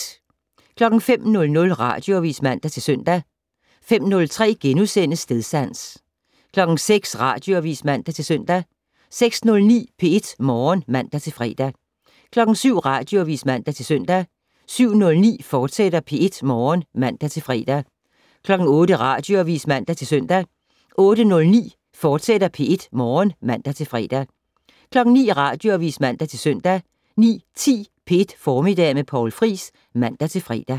05:00: Radioavis (man-søn) 05:03: Stedsans * 06:00: Radioavis (man-søn) 06:09: P1 Morgen (man-fre) 07:00: Radioavis (man-søn) 07:09: P1 Morgen, fortsat (man-fre) 08:00: Radioavis (man-søn) 08:09: P1 Morgen, fortsat (man-fre) 09:00: Radioavis (man-søn) 09:10: P1 Formiddag med Poul Friis (man-fre)